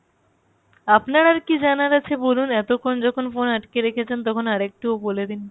আপনার আরকি জানার আছে বলুন এতক্ষন যখন phone আটকে রেখেছেন তখন আর একটু বলে দিন